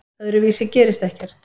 Öðruvísi gerist ekkert.